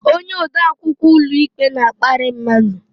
Onye ode akwụkwọ ụlọikpe na-akparị mmadụ.